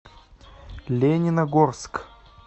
лениногорск